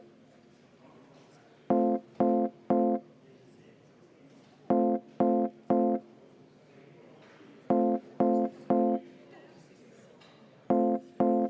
Head kolleegid, läheme lõpphääletuse juurde.